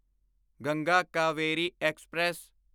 Ganga Kaveri express